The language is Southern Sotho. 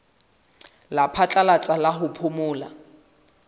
la phatlalatsa la ho phomola